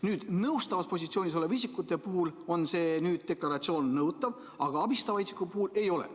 Nüüd, nõustavas positsioonis olevate isikute puhul on see deklaratsioon nõutav, aga abistavate isikute puhul ei ole.